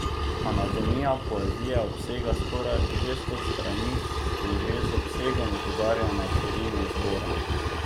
Anatomija poezije obsega skoraj šeststo strani in že z obsegom opozarja na širino izbora.